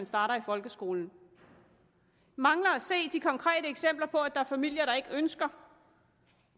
starter i folkeskolen jeg mangler at se de konkrete eksempler på at der er familier der ikke ønsker